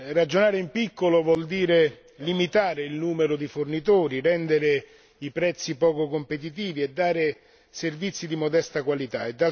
Ragionare in piccolo vuol dire limitare il numero di fornitori, rendere i prezzi poco competitivi e dare servizi di modesta qualità.